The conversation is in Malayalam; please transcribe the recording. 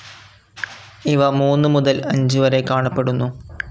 ഇവ മൂന്നുമുതൽ അഞ്ച് വരെ കാണപ്പെടുന്നു.